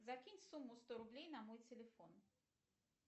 закинь сумму сто рублей на мой телефон